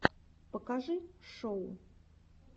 покажи шоу